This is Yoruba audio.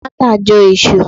Martha Jo Isu